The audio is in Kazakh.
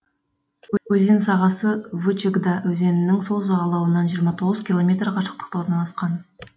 өзен сағасы вычегда өзенінің сол жағалауынан жиырма тоғыз километр қашықтықта орналасқан